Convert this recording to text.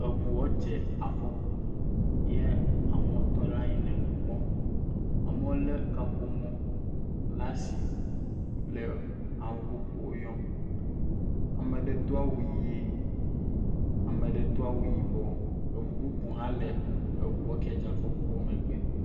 Eŋua dze afɔku, ya amewo tɔ ɖe anyi le nu kpɔm. Amewo lé kaƒomɔ la si le ame bubuwo yɔ. Ame aɖe do awu ʋie, ame aɖe do awu yibɔ. Eŋu bubu hã le eŋua kie dze afɔkua megbe.